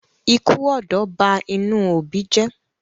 ikú ọ̀dọ́ bá inú òbí jé.